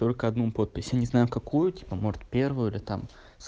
только одну подпись я не знаю какую типа может первую или там